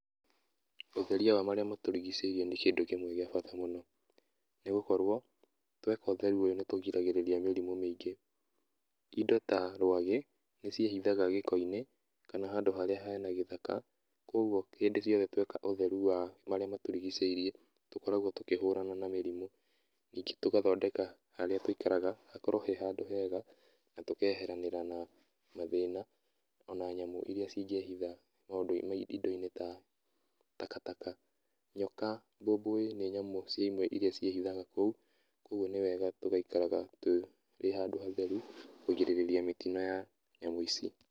Ũtherĩa wa marĩa matũrigicĩirie nĩ kĩndũ kĩmwe gĩa bata mũno, nĩ gũkorwo tweka ũtheru ũguo nĩtũrigagĩrĩria mĩrimũ mĩingĩ. Indo ta rwagĩ nĩciĩhithaga gĩko-inĩ kana handũ harĩa he na gĩthaka kogwo hĩndĩ ciothe tweka ũtheru wa marĩa matũrigicĩirie tũkoragwo tũkĩhũrana na mĩrimũ. Ningĩ tũgathondeka harĩa tũikaraga hakorwo he handũ hega na tũkeheranĩra na mathĩna o na nyamũ irĩa cingĩhitha indo-inĩ ta takataka, nyoka, mbumbui nĩ nyamũ cia imwe irĩa cĩhithaga kũu, kogwo nĩ wega tũgaikaraga tũrĩ handũ hatheru kũgirĩrĩria mĩtino ya nyamũ ici.